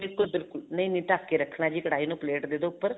ਬਿਲਕੁਲ ਬਿਲਕੁਲ ਨਹੀਂ ਨਹੀਂ ਢੱਕ ਕੇ ਰੱਖਣਾ ਹੈ ਜੀ ਕੜਾਹੀ ਨੂੰ ਪਲੇਟ ਦੇਦੋ ਉੱਪਰ